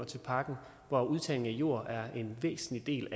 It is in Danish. til pakken hvoraf udtagning af jord er en væsentlig del